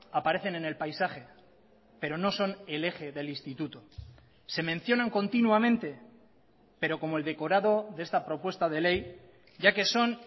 aparecen en el paisaje pero no son el eje del instituto se mencionan continuamente pero como el decorado de esta propuesta de ley ya que son